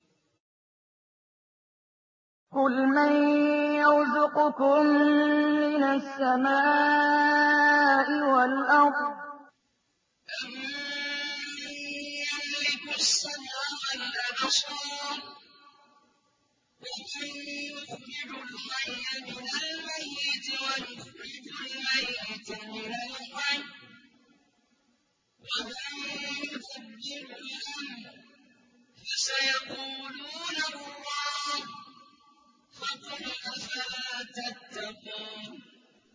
قُلْ مَن يَرْزُقُكُم مِّنَ السَّمَاءِ وَالْأَرْضِ أَمَّن يَمْلِكُ السَّمْعَ وَالْأَبْصَارَ وَمَن يُخْرِجُ الْحَيَّ مِنَ الْمَيِّتِ وَيُخْرِجُ الْمَيِّتَ مِنَ الْحَيِّ وَمَن يُدَبِّرُ الْأَمْرَ ۚ فَسَيَقُولُونَ اللَّهُ ۚ فَقُلْ أَفَلَا تَتَّقُونَ